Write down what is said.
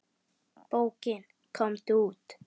Bókin Komdu út!